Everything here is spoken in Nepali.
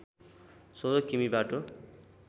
१६ किमि बाटो